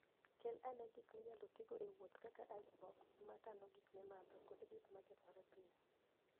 Kel ane gik minyalo tigo e wuoth kaka icebox ma kano gik mimadho kod gik ma kethore piyo.